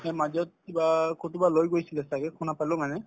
এই মাজত কিবা কৰবাত লৈ গৈছিলে ছাগে শুনা পালো মানে